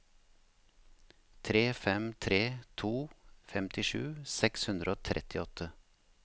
tre fem tre to femtisju seks hundre og trettiåtte